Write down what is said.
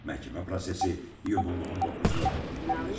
Məhkəmə prosesi iyunun 19-da davam etdiriləcək.